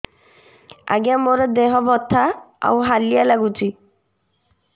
ଆଜ୍ଞା ମୋର ଦେହ ବଥା ଆଉ ହାଲିଆ ଲାଗୁଚି